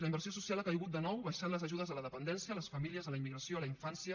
la inversió social ha caigut de nou baixant les ajudes a la dependència a les famílies a la immigració a la infància